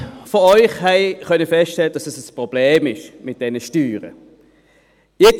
Alle unter Ihnen konnten feststellen, dass es mit diesen Steuern ein Problem gibt.